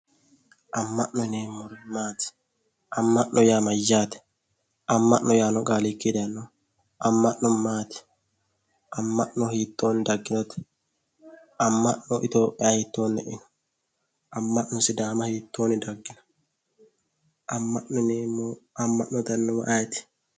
Ama'no yineemmori maati, ama'no yaa mayate, ama'no yaano qaali mamini daayino, ama'no maati, ama'no hiittoni daginote, ama'no Itophiya hiittoni daggino ,ama'no sidaamira hiittoni daggino ,ama'no ama'ne noohu ayiiti?